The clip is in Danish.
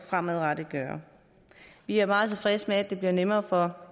fremadrettet vi er meget tilfredse med at det også bliver nemmere for